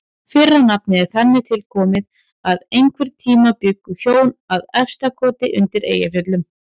Fyrra nafnið er þannig tilkomið að einhvern tíma bjuggu hjón að Efstakoti undir Eyjafjöllum.